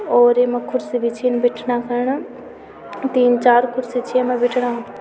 और येमा कुर्सी भी छिन बिठणा खण तीन-चार कुर्सी छी येमा बिठणा।